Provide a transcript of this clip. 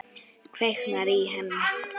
Kveikir í henni.